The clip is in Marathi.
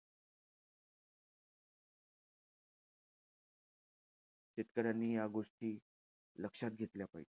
शेतकऱ्यांनी या गोष्टी लक्षात घेतल्या पाहिजे.